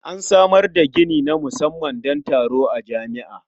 An samar da gini na musamman don taro a jami'a.